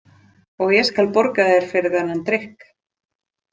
Og ég skal borga þér fyrir þennan drykk.